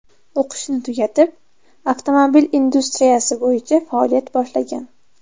O‘qishni tugatib avtomobil industriyasi bo‘yicha faoliyat boshlagan.